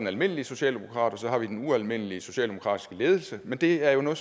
almindelige socialdemokrater og så har vi den ualmindelige socialdemokratiske ledelse men det er jo noget